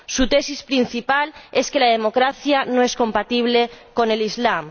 Su tesis principal es que la democracia no es compatible con el Islam.